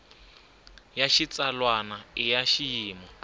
ya xitsalwana i ya xiyimo